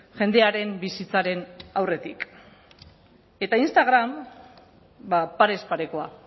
jendearen bizitzaren aurretik eta instagram ba parez parekoa